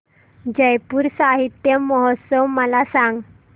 जयपुर साहित्य महोत्सव मला सांग